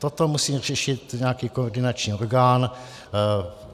Toto musí řešit nějaký koordinační orgán.